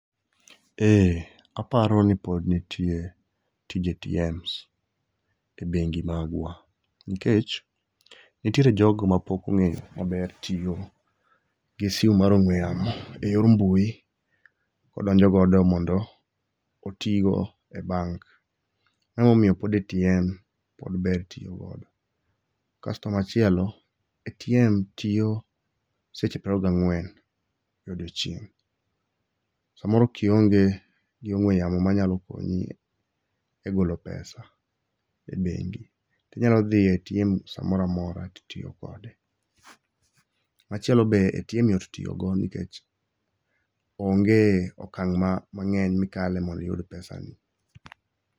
Ee aparo ni pod nitie tije ATMs ebengi magwa. Nikech nitiere jogo mapok ong'eyo maber tiyo gi simu mar ong'ue yamo eyor mbui kodonjo godo mondo oti go e bank. Mano emomiyo pod ATM pod ber tiyo godo. Kasto machielo, ATM tiyo seche piero ariyo gang'wen e odiechieng'. Samoro kionge gi ong'ue yamo manyalo konyi egolo pesa e bengi, tinyalo dhi e ATM samoro amora titiyo kode. Machielo be, ATM yot tiyo go nikech onge okang' ma mang'eny mikale mondo iyud pesagi.